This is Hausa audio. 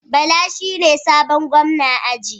Bala shine sabon gwamna aji